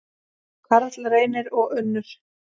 Karl Reynir og Unnur.